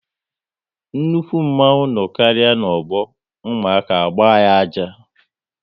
Nnukwu mmanwu no karịa n'ọgbọ, ụmụaka agba ya ájá